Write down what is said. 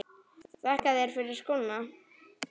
Þakka þér fyrir skóna.